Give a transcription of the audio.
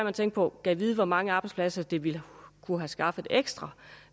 at tænke på gad vide hvor mange arbejdspladser det ville kunne have skaffet ekstra